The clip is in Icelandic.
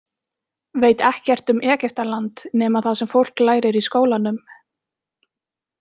Veit ekkert um Egyptaland nema það sem fólk lærir í skólanum.